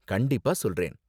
கண்டிப்பா சொல்றேன்